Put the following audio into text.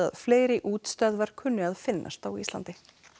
fleiri útstöðvar kunni að finnast á Íslandi